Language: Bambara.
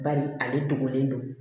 Bari ale dogolen don